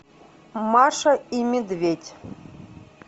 маша и медведь